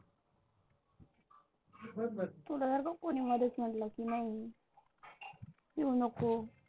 तुला जर कोणी मध्येच म्हटलं की नाही पिऊ नको.